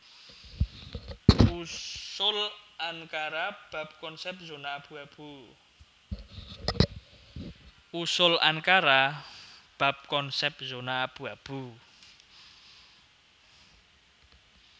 Usul Ankara bab konsèp zona abu abu